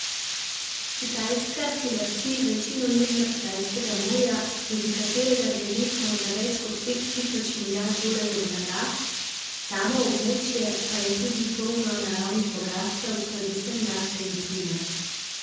Kitajska si lasti večino Južnokitajskega morja, skozi katerega gre letno za več kot pet tisoč milijard dolarjev blaga, samo območje pa je tudi polno naravnih bogastev, predvsem nafte in plina.